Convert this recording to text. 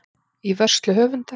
Í vörslu höfundar.